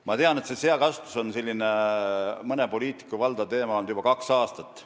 Ma tean, et seakasvatus on olnud mõne poliitiku valdav teema juba kaks aastat.